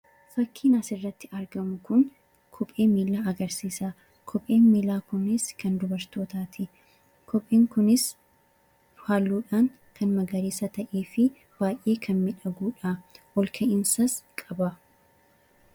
Fakkiin asirratti arginu kun kophee miillaa agarsiisa. Kopheen miillaa kunis kan dubartootaati. Kopheen kunis halluun isaa magariisa kan ta’ee fi baay'ee kan miidhagudha. Ol ka'iinsas qaba.